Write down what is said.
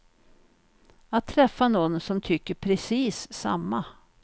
Att träffa nån som tycker precis samma.